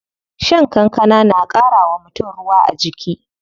Shan kankana na ƙara wa mutum ruwa a jiki.